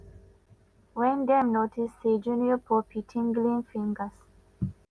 wen dem notice say junior pope tinglin fingers.